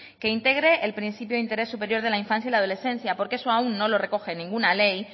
que integre el principio de interés superior de la infancia y adolescencia porque eso aún no lo recoge ninguna ley